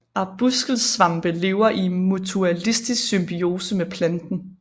Arbuskelsvampe lever i mutualistisk symbiose med planten